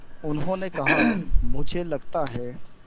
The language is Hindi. उन्होंने कहा मुझे लगता है